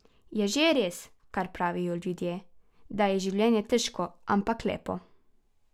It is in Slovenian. Je že res, kar pravijo ljudje, da je življenje težko, ampak lepo.